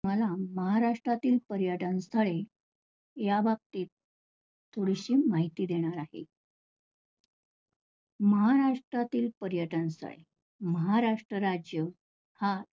महाराष्ट्रातील पर्यटन स्थळे याबाबतीत थोडीशी माहिती देणार आहे. महाराष्ट्रातील पर्यटन काय महाराष्ट्र राज्य हा